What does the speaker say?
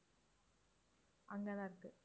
அங்க தான் இருக்கு